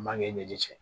Mankɛ i ɲɛji cɛ